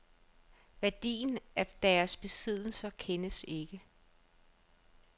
Værdien af deres besiddelser kendes ikke.